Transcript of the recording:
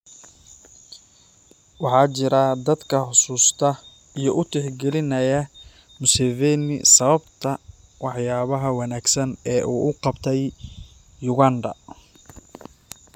Waxaa jira dadka xusuusta iyo u tixgelinaya Museveni sababta waxyaabaha wanaagsan ee uu u qabtay Uganda.